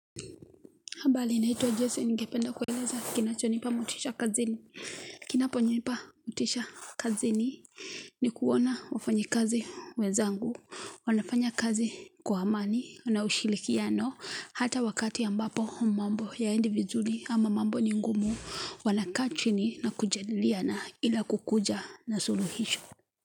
Habari naitwa Jason ningependa kueleza kinachonipa motisha kazini. Kinaponipa motisha kazini ni kuona wafanyi kazi wenzangu. Wanafanya kazi kwa amani, na ushirikiano, hata wakati ambapo mambo hayaendi vizuri ama mambo ni ngumu, wanakaa chini na kujadiliana ila kukuja na suluhisho.